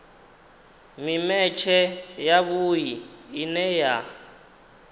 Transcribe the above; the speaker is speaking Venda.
mimetshe ya vhui ine ya